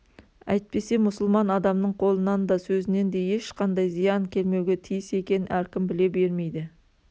әйтпесе мұсылман адамның қолынан да сөзінен де ешқандай зиян келмеуге тиіс екенін әркім біле бермейді